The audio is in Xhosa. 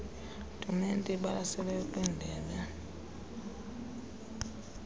tumente ibalaseleyo kwindebe